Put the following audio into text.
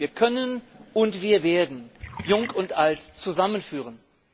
Wir können und werden Jung und Alt zusammenführen.